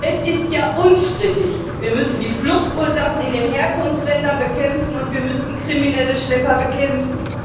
Es ist ja unstrittig Wir müssen die Fluchtursachen in den Herkunftsländern bekämpfen, und wir müssen kriminelle Schlepper bekämpfen.